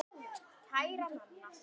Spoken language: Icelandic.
Kæra Nanna.